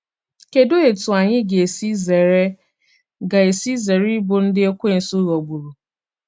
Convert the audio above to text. Kedụ etú anyị ga esi zere ga esi zere ịbụ ndị Ekwensu ghọgburu?